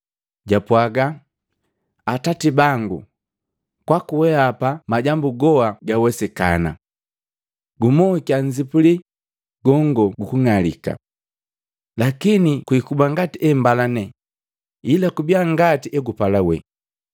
Japwaga, “Atati bangu, kwaku weapa majambu goa gawesikana. Gumokia nzipuli gongo gukung'alika. Lakini kwikuba ngati embalane, ila kubia ngati egupala wee.”